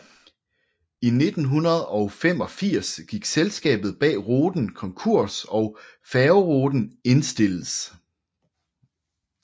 I 1985 gik selskabet bag ruten konkurs og færgeruten indstilles